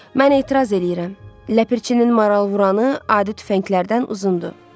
Mən etiraz eləyirəm, ləpirçinin maral vuranı adi tüfənglərdən uzundur.